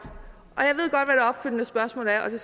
og jeg ved godt hvad det